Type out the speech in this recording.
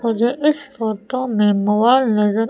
मुझे इस फोटो में मोबाइल नजर--